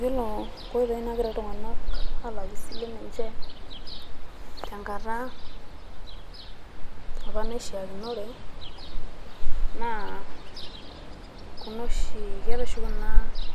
Yiolo nkoitoi naagira iltung`anak aalakie isilen enye tenkata apa naishiakinore naa kuna oshi keeta e oshi kuna